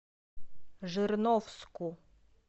жирновску